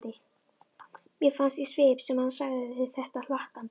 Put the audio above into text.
Mér fannst í svip sem hann segði þetta hlakkandi.